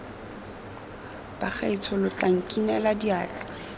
bagaetsho lo tla nkinela diatla